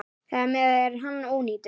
Þar með er hann ónýtur.